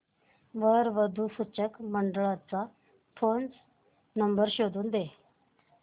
वधू वर सूचक मंडळाचा फोन नंबर शोधून दे